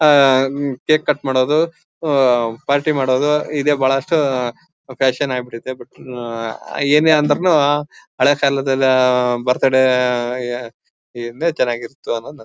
ಆಹ್ಹ್ cake cut ಮಾಡೋದು party ಮಾಡೋದು ಇದೆ ಬಹಳಷ್ಟು ಫ್ಯಾಷನ್ ಆಗ್ಬಿಟ್ಟಿದೆ ಬಟ್ ಇದು ಏನೆ ಅಂದ್ರೂನು ಹಳೆ ಕಾಲದ್ ಬರ್ತ್ಡೇ ಚೆನ್ನಾಗಿರ್ತಿತ್ತು ಅನ್ನೊದ್ ನನ್--